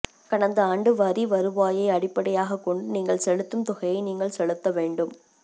கடந்த ஆண்டு வரி வருவாயை அடிப்படையாகக் கொண்டு நீங்கள் செலுத்தும் தொகையை நீங்கள் செலுத்த வேண்டும்